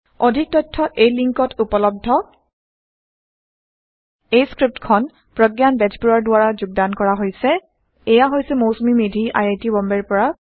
অধিক তথ্য এই লিংকত উপলব্ধhttpspoken tutorialorgNMEICT Intro 160 এই পাঠটি প্ৰগয়ান বেজবৰুৱাৰ দ্ৱাৰা যোগদান কৰা হৈছে আৰু এইয়া হৈছে Mousumi Medhi I I T বম্বেৰ পৰা